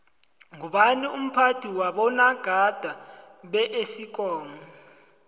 ngubani umphathi wabonagada beesikomu